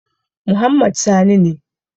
Muhammad Sani ne.